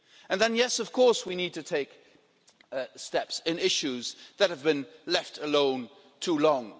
And then yes, of course we need to take steps on issues that have been left alone too long.